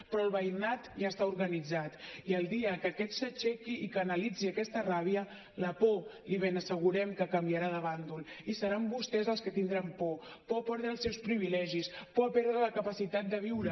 però el veïnat ja està organitzat i el dia que aquest s’aixequi i canalitzi aquesta ràbia la por li ben assegurem que canviarà de bàndol i seran vostès els que tindran por por a perdre els seus privilegis por a perdre la capacitat de viure